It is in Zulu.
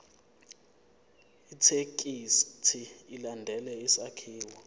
ithekisthi ilandele isakhiwo